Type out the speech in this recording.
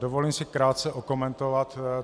Dovolím si krátce okomentovat.